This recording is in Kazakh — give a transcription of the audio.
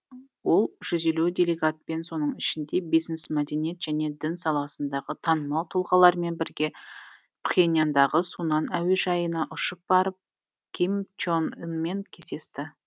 ол жүз елу делегатпен соның ішінде бизнес мәдениет және дін саласындағы танымал тұлғалармен бірге пхеньяндағы сунан әуежайына ұшып барып ким чон ынмен кездесті